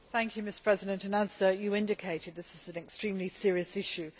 Mr President, as you indicated, this is an extremely serious issue.